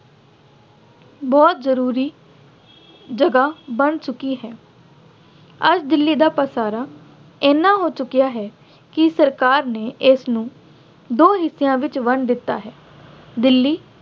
ਬਹੁਤ ਜ਼ਰੂਰੀ ਜਗ੍ਹਾ ਬਣ ਚੁੱਕੀ ਹੈ। ਅੱਜ ਦਿੱਲੀ ਦਾ ਪਸਾਰਾ ਐਨਾ ਹੋ ਚੁੱਕਿਆਂ ਹੈ ਕਿ ਸਰਕਾਰ ਨੇ ਇਸਨੂੰ ਦੋ ਹਿੱਸਿਆਂ ਵਿੱਚ ਵੰਡ ਦਿੱਤਾ ਹੈ। ਦਿੱਲੀ